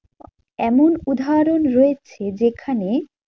এমন উদাহরণ রয়েছে যেখানে